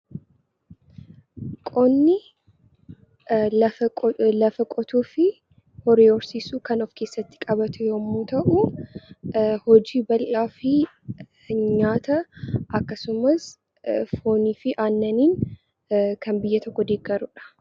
Qonni lafa qotuu fi horii horsiisuu kan of keessatti qabatu yemmuu ta'u hojii bal'aa fi nyaata akkasumas foonii fi aannaniin kan biyya tokko deeggaru jechuudha.